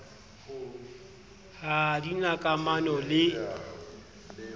ha di na kamano le